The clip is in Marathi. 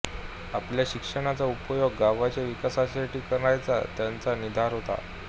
आपल्या शिक्षणाचा उपयोग गावाच्या विकासासाठी करण्याचा त्यांचा निर्धार होता